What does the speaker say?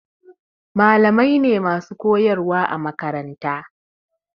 Malamai ne masu koyarwa a makaranta.